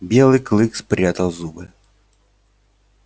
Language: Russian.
белый клык спрятал зубы